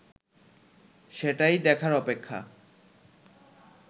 সেটাই দেখার অপেক্ষা